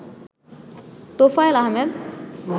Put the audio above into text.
Tofail Ahmed